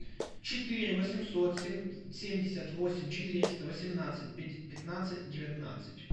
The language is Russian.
четыре восемьсот семьдесят восемь четыреста восемнадцать пятнадцать девятнадцать